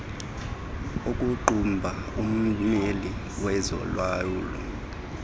okuqhuba ummeli wezolawulo